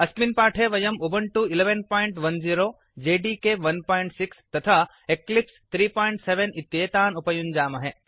अस्मिन् पाठे वयम् उबुण्टु 1110 जेडिके 16 तथा एक्लिप्स् 37 इत्येतान् उपयुञ्जामहे